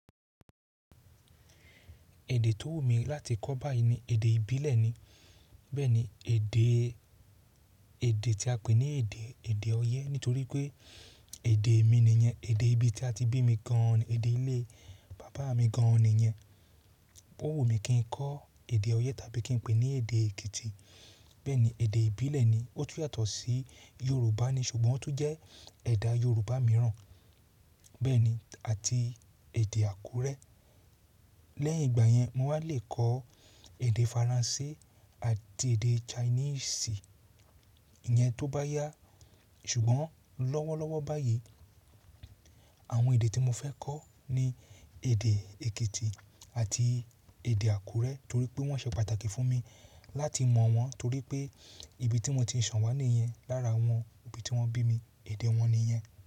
Èdè tó wù mí láti kọ́ báyìí ni èdè ìbílẹ̀ ni. Bẹ́ẹ̀ni, èdè, èdè tí a pè ní èdè, èdè Ọ̀yẹ́ nítorí pé èdè mi nìyẹn. Èdè ibi tí a ti bí mi gan-an, èdè ilé bàbá mi gan-an nìyẹn. Ó wù mí kí n kọ́ èdè Ọ̀yẹ́ tàbí kí n pè ní èdè Èkìtì. Bẹ́ẹ̀ni, èdè ìbílẹ̀ ni. Ó tún yàtọ̀ sí Yorùbá ni, ṣùgbọ́n ó tún jẹ́ ẹ̀dá Yorùbá mìíràn. Bẹ́ẹ̀ni, àti èdè Àkúrẹ́. Lẹ́yìn ìgbà yẹn, mo wá lè kọ èdè Faransé àti èdè Chinese. Ìyẹn tó bá yá. Ṣùgbọ́n lọ́wọ́lọ́wọ́ báyìí, àwọn èdè tí mo fẹ́ kọ́ ni èdè Èkìtì àti èdè Àkúrẹ́ torí pé wọ́n ṣe pàtàkì fún mi láti mọ̀ wọ́n torí pé ibi tí mo ti sanwó níyẹn lára àwọn ibi tí wọ́n bí mi, èdè wọn nìyẹn.